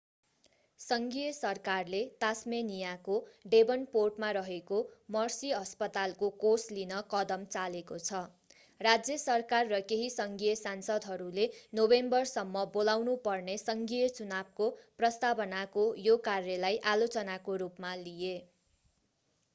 सङ्घीय सरकारले तास्मेनियाको डेभनपोर्टमा रहेको मर्सी अस्पतालको कोष लिन कदम चालेको छ राज्य सरकार र केही सङ्घीय सांसदहरूले नोभेम्बरसम्म बोलाउनु पर्ने सङ्घीय चुनावको प्रस्तावनाको यो कार्यलाई आलोचनाको रूपमा लिए